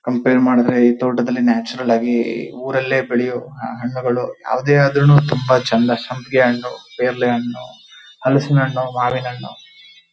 compare ಮಾಡಿದ್ರೆ ಈ ತೋಟದಲ್ಲಿ ನ್ಯಾಚುರಲ್ ಆಗಿ ಊರಲ್ಲೇ ಬೆಳೆಯುವ ಹಣ್ಣುಗಳು ಯಾವುದೇ ಆದ್ರೂ ನೂ ಚಂದ ಸಂಪಿಗೆ ಹಣ್ಣು ಪೇರಳೆ ಹಣ್ಣು ಹಲಸಿನ ಹಣ್ಣು ಮಾವಿನ ಹಣ್ಣು --